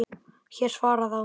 Hár svarar þá